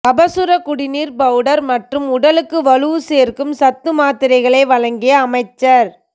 கபசுர குடிநீர் பவுடர் மற்றும் உடலுக்கு வலு சேர்க்கும் சத்து மாத்திரைகளை வழங்கிய அமைச்சர்